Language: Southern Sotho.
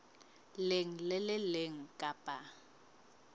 leng le le leng kapa